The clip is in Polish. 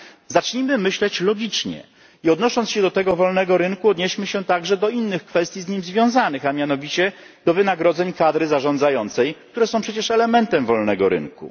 Zacznijmy myśleć logicznie i odnosząc się do tego wolnego rynku, odnieśmy się także do innych kwestii z nim związanych, a mianowicie do wynagrodzeń kadry zarządzającej, które są przecież elementem wolnego rynku.